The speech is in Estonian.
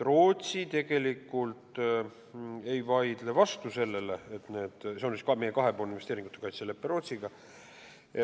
See on ka meie kahepoolne investeeringute kaitse lepe Rootsiga.